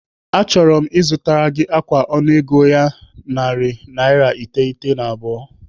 Achọrọ m ịzụtara gị ákwà ọnụego naira narị iteghete na abụọ.